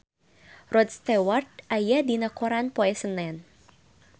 Rod Stewart aya dina koran poe Senen